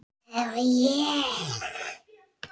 Það var ég!